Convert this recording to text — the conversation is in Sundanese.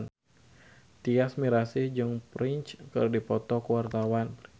Tyas Mirasih jeung Prince keur dipoto ku wartawan